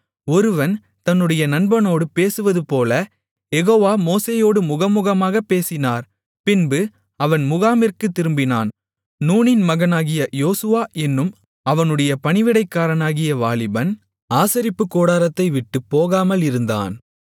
ஒருவன் தன்னுடைய நண்பனோடு பேசுவதுபோல யெகோவா மோசேயோடு முகமுகமாகப் பேசினார் பின்பு அவன் முகாமிற்குத் திரும்பினான் நூனின் மகனாகிய யோசுவா என்னும் அவனுடைய பணிவிடைக்காரனாகிய வாலிபன் ஆசரிப்புக்கூடாரத்தைவிட்டுப் போகாமல் இருந்தான்